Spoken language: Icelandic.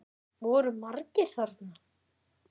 Voru margir þarna?